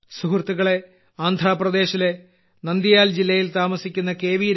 സുഹൃത്തുക്കളേ ആന്ധ്രാപ്രദേശിലെ നന്ദിയാൽ ജില്ലയിൽ താമസിക്കുന്ന കെ